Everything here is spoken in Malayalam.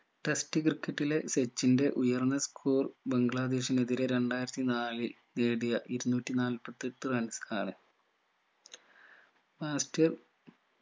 test ക്രിക്കറ്റിലെ സച്ചിന്റെ ഉയർന്ന score ബംഗ്ലാദേശിനെതിരെ രണ്ടായിരത്തി നാലിൽ നേടിയ ഇരുന്നൂറ്റി നാൽപ്പത്തി എട്ട് runs ആണ് master